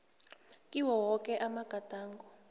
kiwo woke amagadango